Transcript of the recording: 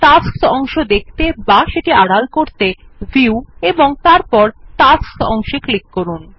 tasks অংশ দেখাতে বা আড়াল করতে ভিউ এবং তারপর টাস্কস অংশে ক্লিক করুন